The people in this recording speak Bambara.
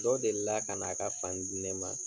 Dɔ delila kana a ka fani di ne ma